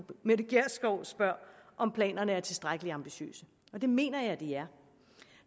mette gjerskov spørger om planerne er tilstrækkelig ambitiøse det mener jeg de er